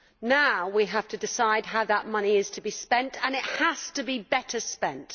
Now we have to decide how that money is to be spent and it has to be better spent.